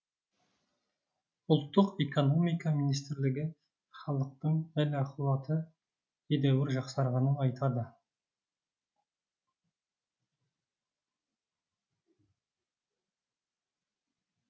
ұлттық экономика министрлігі халықтың әл ақуаты едәуір жақсарғанын айтады